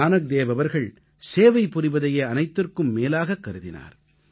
நானக்தேவ் அவர்கள் சேவை புரிவதையே அனைத்திற்கும் மேலாகக் கருதினார்